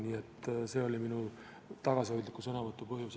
Nii et see oli minu tagasihoidliku sõnavõtu põhjus.